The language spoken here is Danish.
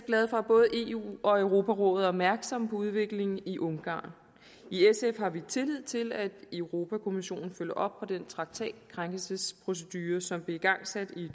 glade for at både eu og europarådet er opmærksomme på udviklingen i ungarn i sf har vi tillid til at europa kommissionen følger op på den traktatkrænkelsesprocedure som blev igangsat i